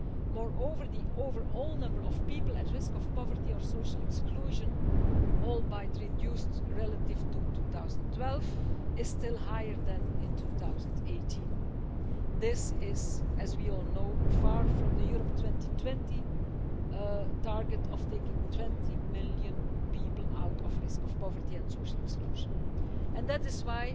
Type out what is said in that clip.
Moreover, the overall number of people at risk of poverty or social exclusion, albeit reduced relative to 2012, is still higher now in 2018. This is, as we all know, far from the Europe 2020 target of taking 20 million people out of risk of poverty and social exclusion, and that is why